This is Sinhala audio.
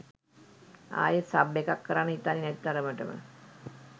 ආයෙත් සබ් එකක් කරන්න හිතෙන්නෙ නැති තරමටම.